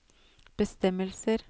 bestemmelser